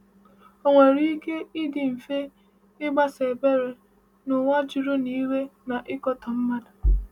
Ò nwere ike ịdị mfe ịgbaso ebere n’ụwa juru n’iwe na ịkatọ mmadụ?